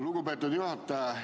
Lugupeetud juhataja!